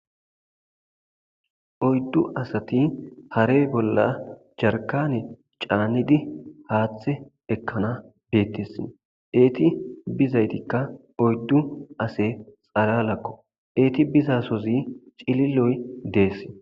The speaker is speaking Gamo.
oyddu asati hare bolla jarkane caanidi haaththe ekkana beettessin eeti bizaytikka oyddu ase xalalakko eeti bizasozi cililoy deess